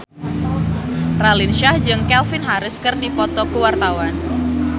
Raline Shah jeung Calvin Harris keur dipoto ku wartawan